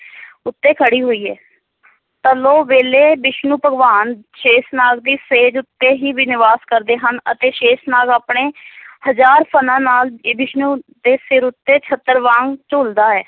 ਉੱਤੇ ਖੜੀ ਹੋਈ ਹੈ ਪਰਲੋ ਵੇਲੇ ਵਿਸ਼ਨੂੰ ਭਗਵਾਨ ਸ਼ੇਸ਼ਨਾਗ ਦੀ ਸੇਜ ਉਤੇ ਹੀ ਵੀ ਨਿਵਾਸ ਕਰਦੇ ਹਨ ਅਤੇ ਸ਼ੇਸ਼ਨਾਗ ਆਪਣੇ ਹਜ਼ਾਰ ਫਣਾਂ ਨਾਲ ਇਹ ਵਿਸ਼ਨੂੰ ਦੇ ਸਿਰ ਉੱਤੇ ਛਤਰ ਵਾਂਗ ਝੂਲਦਾ ਹੈ।